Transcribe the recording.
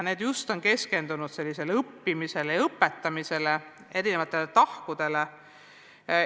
Need on keskendunud õppimise ja õpetamise erinevatele tahkudele.